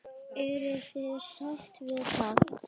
Eruð þið sátt við það?